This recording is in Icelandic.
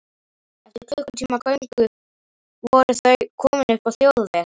Eftir klukkutíma göngu voru þau komin upp á þjóðveg.